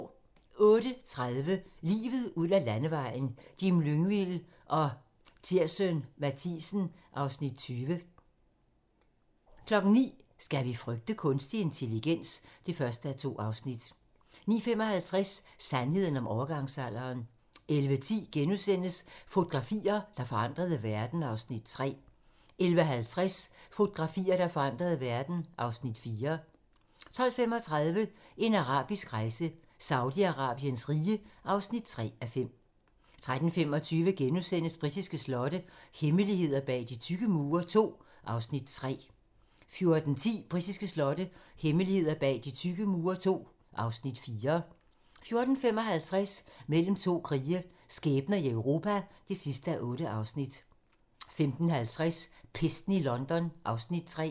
08:30: Livet ud ad landevejen: Jim Lyngvild og Tirssøn Mathiesen (Afs. 20) 09:00: Skal vi frygte kunstig intelligens? (1:2) 09:55: Sandheden om overgangsalderen 11:10: Fotografier, der forandrede verden (Afs. 3)* 11:50: Fotografier, der forandrede verden (Afs. 4) 12:35: En arabisk rejse: Saudi-Arabiens rige (3:5) 13:25: Britiske slotte - hemmeligheder bag de tykke mure II (Afs. 3)* 14:10: Britiske slotte - hemmeligheder bag de tykke mure II (Afs. 4) 14:55: Mellem to krige - skæbner i Europa (8:8) 15:50: Pesten i London (Afs. 3)